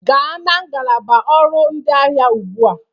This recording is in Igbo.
gaa na ngalaba ọrụ ndị ahịa ugbu a!